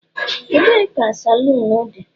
ebe ka saloon di?